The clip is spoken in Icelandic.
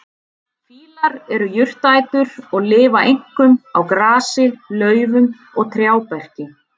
Fílar eru jurtaætur og lifa einkum á grasi, laufum og trjáberki.